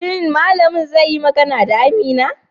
Shin malamin zai yi magana da Amina?